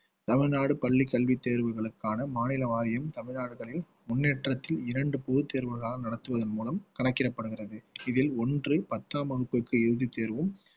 தமிழ்நாடு பள்ளிக்கல்வி தேர்வுகளுக்கான மாநில வாரியம் தமிழ்நாடுகளில் முன்னேற்றத்தில் இரண்டு பொதுத் தேர்வுகளாக நடத்துவதன் மூலம் கணக்கிடப்படுகிறது இதில் ஒன்று பத்தாம் வகுப்புக்கு இறுதி தேர்வும்